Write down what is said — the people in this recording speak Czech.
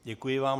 Děkuji vám.